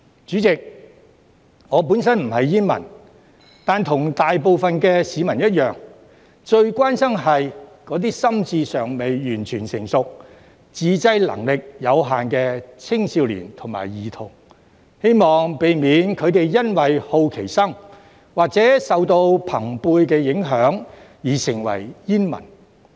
主席，我本身不是煙民，但與大部分市民一樣，最關心的是那些心智尚未完全成熟、自制能力有限的青少年及兒童，希望避免他們因為好奇心或受到朋輩影響而成為煙民。